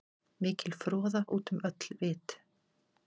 Mikil froða út um öll vit.